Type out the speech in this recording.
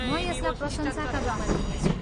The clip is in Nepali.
म यसलाई प्रशंसाका रूपमा लिनेछु।